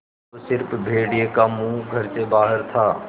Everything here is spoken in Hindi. अब स़िर्फ भेड़िए का मुँह घर से बाहर था